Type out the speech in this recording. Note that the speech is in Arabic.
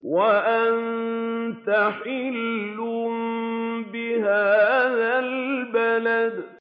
وَأَنتَ حِلٌّ بِهَٰذَا الْبَلَدِ